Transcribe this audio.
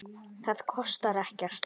Það kostar ekkert.